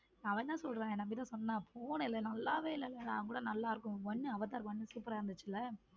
அவன் தான் சொல்றான் என்கிட்ட சொன்னா போன இல்ல நல்லாவே இல்லங்க நான் கூட நல்லா இருக்கும் one அவதார் one super ரா இருந்துச்சுல.